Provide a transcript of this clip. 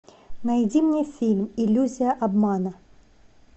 найди мне фильм иллюзия обмана